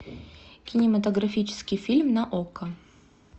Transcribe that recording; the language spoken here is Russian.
кинематографический фильм на окко